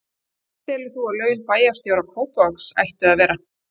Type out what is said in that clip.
Hver telur þú að laun bæjarstjóra Kópavogs ættu að vera?